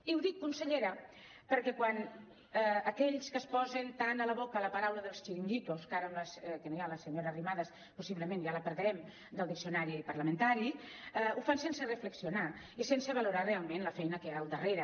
i ho dic consellera perquè aquells que es posen tant a la boca la paraula chiringuitos que ara que no hi ha la senyora arrimadas possiblement ja la perdrem del diccionari parlamentari ho fan sense reflexionar i sense valorar realment la feina que hi ha al darrere